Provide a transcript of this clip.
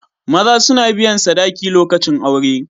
Maza suna biyan sadaki lokacin aure.